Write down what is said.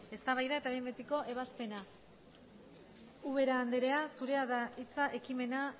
eztabaida eta behin betiko ebazpena ubera andrea zurea da hitza ekimena